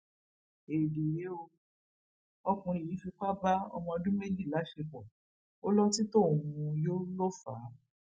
éèdì rèé ó ọkùnrin yìí fipá bá ọmọọdún méjì láṣepọ ó lọtí tóun mú yọ ló fà á